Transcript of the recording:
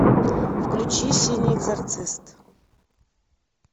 включи синий экзорцист